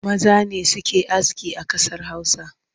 Maza ne suke aski a ƙasar Hausa